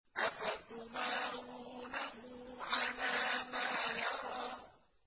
أَفَتُمَارُونَهُ عَلَىٰ مَا يَرَىٰ